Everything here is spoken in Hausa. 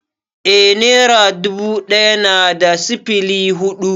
Eh nera dubu ɗaya na da sifili hudu